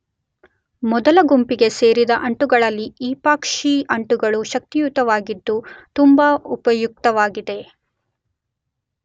ಮೊದಲ ಗುಂಪಿಗೆ ಸೇರಿದ ಅಂಟುಗಳಲ್ಲಿ ಈಪಾಕ್ಸಿ ಅಂಟುಗಳು ಶಕ್ತಿಯುತವಾಗಿದ್ದು ತುಂಬ ಉಪಯುಕ್ತವಾಗಿವೆ.